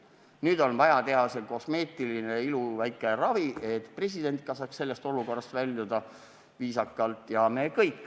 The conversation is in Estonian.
Nüüd on vaja teha see väike kosmeetiline iluravi, et president ka saaks sellest olukorrast väljuda viisakalt.